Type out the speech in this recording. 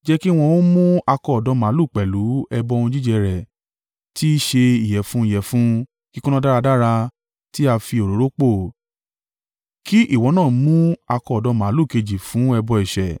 Jẹ́ kí wọn ó mú akọ ọ̀dọ́ màlúù pẹ̀lú ẹbọ ohun jíjẹ rẹ̀ tí í ṣe ìyẹ̀fun ìyẹ̀fun kíkúnná dáradára tí a fi òróró pò, kí ìwọ náà mú akọ ọ̀dọ́ màlúù kejì fún ẹbọ ẹ̀ṣẹ̀.